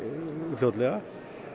fljótlega